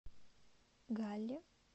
галле